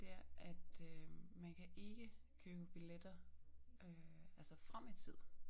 Det er at øh man kan ikke købe billetter øh altså frem i tid